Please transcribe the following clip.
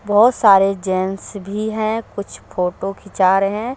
बहुत सारे जेंस भी है कुछ फोटो खींचा रहे हैं ।